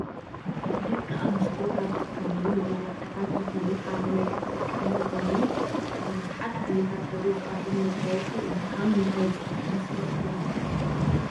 ደቂ አንስትዬ ካብ ዝጥቀማሉ መመላክዕታት ዝኮኑ ሓደ ናይ ክንፈር ቀለም ኮይኑ ብብዝሓት ዓይነታት ሕብሪ ዝቀርብ መጋየፂ እዩ ።ካብ ምንታይ ዝስራሕ ይመስለኩም?